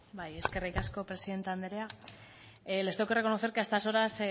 eskerrik asko presidente andrea les tengo que reconocer que a estas horas